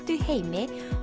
í heimi